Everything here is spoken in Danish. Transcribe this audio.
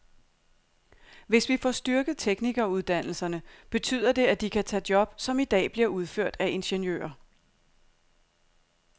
Hvis vi får styrket teknikeruddannelserne, betyder det, at de kan tage job, som i dag bliver udført af ingeniører.